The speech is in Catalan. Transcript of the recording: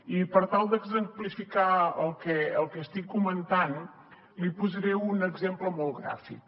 i per tal d’exemplificar el que estic comentant n’hi posaré un exemple molt gràfic